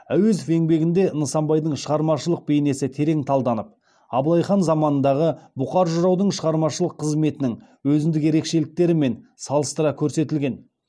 әуезов еңбегінде нысанбайдың шығармашылық бейнесі терең талданып абылай хан заманындағы бұқар жыраудың шығармашылык қызметінің өзіндік ерекшеліктерімен салыстыра көрсетілген